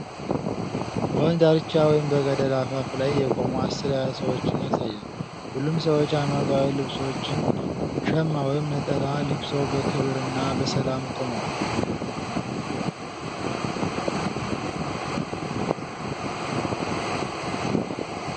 በወንዝ ዳርቻ ወይም በገደል አፋፍ ላይ የቆሙ አስር ያህል ሰዎችን ያሳያል። ሁሉም ሰዎች ሃይማኖታዊ ልብሶችን (ሸማ ወይም ነጠላ) ለብሰው በክብርና በሰላም ቆመዋል።